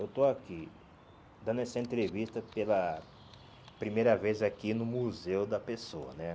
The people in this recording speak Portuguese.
Eu estou aqui dando essa entrevista pela primeira vez aqui no Museu da Pessoa, né?